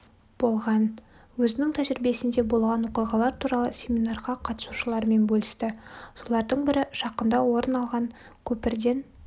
болған өзінің тәжірибесінде болған оқиғалар туралы семинарға қатысушылармен бөлісті солардың бірі жақында орын алған көпірден